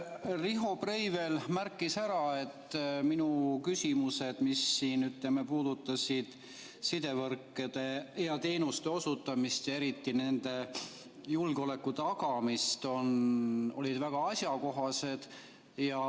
Riho Breivel märkis ära, et minu küsimused, mis puudutasid sidevõrkude ja -teenuste osutamist ja eriti nende julgeoleku tagamist, olid väga asjakohased.